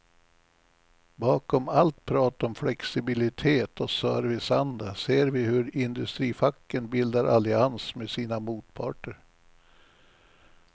Bakom allt prat om flexibilitet och serviceanda ser vi hur industrifacken bildar allians med sina motparter.